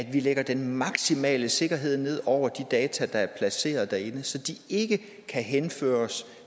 at vi lægger den maksimale sikkerhed ned over de data der er placeret derinde så de ikke kan henføres